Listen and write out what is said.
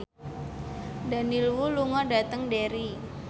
Daniel Wu lunga dhateng Derry